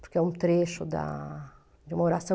Porque é um trecho da oração.